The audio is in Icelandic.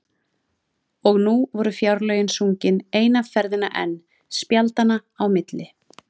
Og nú voru Fjárlögin sungin eina ferðina enn spjaldanna á milli.